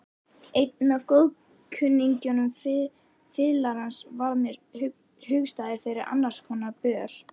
Einn af góðkunningjum fiðlarans varð mér hugstæður fyrir annarskonar böl.